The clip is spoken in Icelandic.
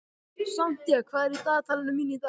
Santía, hvað er í dagatalinu mínu í dag?